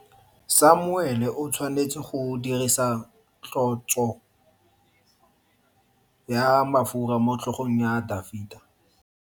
Samuele o tshwanetse go dirisa tlotso ya mafura motlhogong ya Dafita.